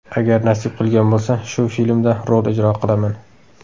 Agar nasib qilgan bo‘lsa, shu filmda rol ijro qilaman.